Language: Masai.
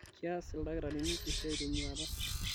kias ildaktarini esiai tenyuata